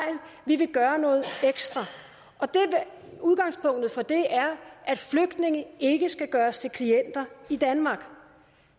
vi vil gøre noget ekstra udgangspunktet for det er at flygtninge ikke skal gøres til klienter i danmark